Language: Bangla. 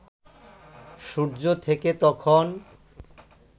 সূর্য থেকে তখন